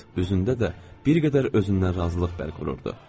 Üzündə də bir qədər özündən razılıq bərq vururdu.